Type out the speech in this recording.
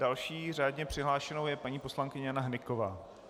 Další řádně přihlášenou je paní poslankyně Jana Hnyková.